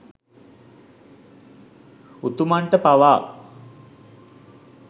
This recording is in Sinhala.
උතුමන්ට පවා